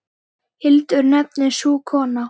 Hildur nefnist sú kona.